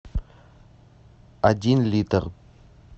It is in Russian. один литр